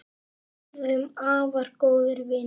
Við urðum afar góðir vinir.